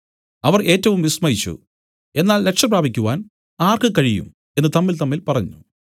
അവർ ഏറ്റവും വിസ്മയിച്ചു എന്നാൽ രക്ഷ പ്രാപിക്കുവാൻ ആർക്ക് കഴിയും എന്നു തമ്മിൽതമ്മിൽ പറഞ്ഞു